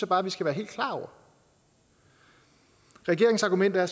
bare vi skal være helt klar over regeringens argument er